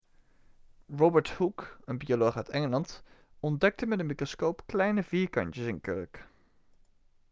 robert hooke een bioloog uit engeland ontdekte met een microscoop kleine vierkantjes in kurk